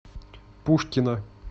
пушкина